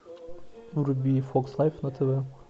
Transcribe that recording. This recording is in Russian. вруби фокс лайф на тв